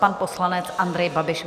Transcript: Pan poslanec Andrej Babiš.